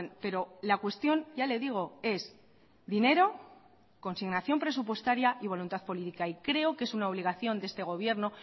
pero la cuestión ya le digo es dinero consignación presupuestaria y voluntad política y creo que es una obligación de este gobierno